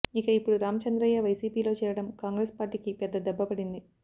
ఇక ఇప్పుడు రామచంద్రయ్య వైసీపీ లో చేరడం కాంగ్రెస్ పార్టీ కి పెద్ద దెబ్బ పడింది